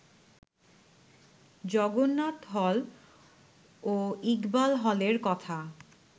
Jagannath hall ও ইকবাল হলের কথা